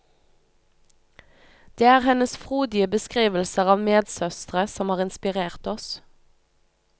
Det er hennes frodige beskrivelser av medsøstre som har inspirert oss.